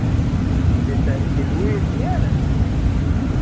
Viltu að ég hringi í Lúísíönu?